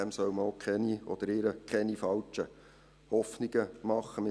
Ihm oder ihr soll man auch keine falschen Hoffnungen machen.